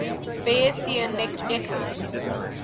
bayesian networks